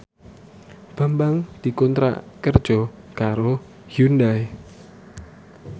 Bambang dikontrak kerja karo Hyundai